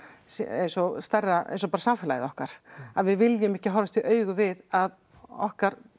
eins og stærra bara samfélagið okkar að við viljum ekki horfast í augu við að okkar